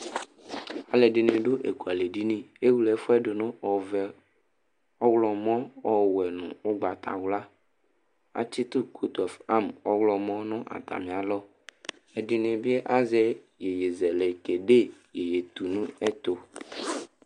Alʋɛdɩnɩ dʋ ekualɛdini Ewle ɛfʋ yɛ dʋ nʋ ɔvɛ, ɔɣlɔmɔ, ɔwɛ nʋ ʋgbatawla Atsɩtʋ kotɔf am ɔɣlɔmɔ nʋ atamɩalɔ Ɛdɩnɩ bɩ azɛ iyeyezɛlɛ kede iyeyetunɛtʋ